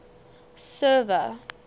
server